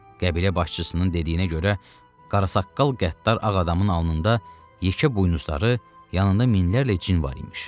Qəbilə başçısının dediyinə görə, qara saqqal qəddar ağ adamın alnında yekə buynuzları, yanında minlərlə cin var imiş.